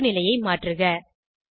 நோக்குநிலையை மாற்றுக 3